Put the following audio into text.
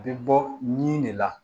A bɛ bɔ nin de la